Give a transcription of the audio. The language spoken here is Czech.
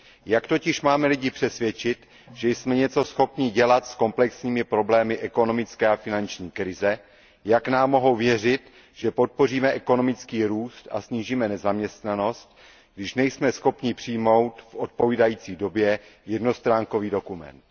Jak totiž máme lidi přesvědčit, že jsme něco schopni dělat s komplexními problémy ekonomické a finanční krize, jak nám mohou věřit, že podpoříme ekonomický růst a snížíme nezaměstnanost, když nejsme schopni přijmout v odpovídající době jednostránkový dokument.